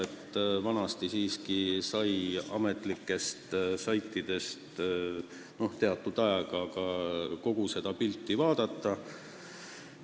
Varem sai ametlikelt saitidelt teatud ajal kogupildist ülevaate.